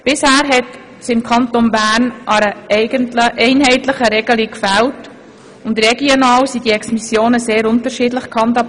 Bisher fehlte im Kanton Bern eine einheitliche Regelung und regional wurden Exmissionen sehr unterschiedlich gehandhabt.